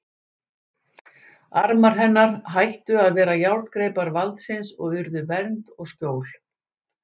Armar hennar hættu að vera járngreipar valdsins og urðu vernd og skjól.